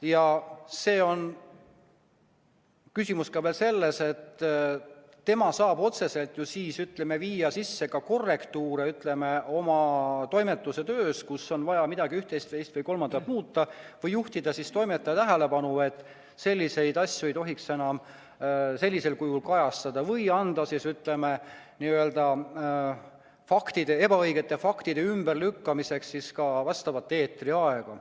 Ja küsimus on ka veel selles, et tema saab ju otseselt viia oma toimetuse töös sisse korrektiive, kui on vaja üht, teist või kolmandat muuta, või juhtida toimetaja tähelepanu, et selliseid asju ei tohiks enam sellisel kujul kajastada, või anda ebaõigete faktide ümberlükkamiseks eetriaega.